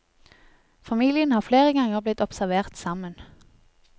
Familien har flere ganger blitt observert sammen.